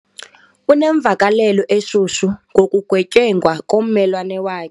Unemvakalelo eshushu ngokugetyengwa kommelwane wakhe.